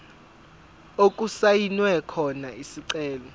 okusayinwe khona isicelo